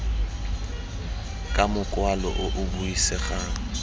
ka mokwalo o o buisegang